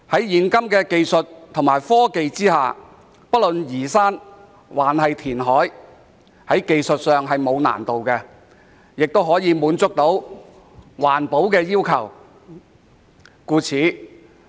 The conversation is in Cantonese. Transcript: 現今科技發達，不論是移山或填海，在技術上都沒有難度，亦可以滿足環保要求。